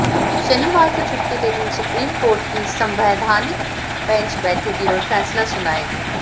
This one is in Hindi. शनिवार को छुट्टी के दिन सुप्रीम कोर्ट की संवैधानिक बेंच बैठेगी और फैसला सुनाएगी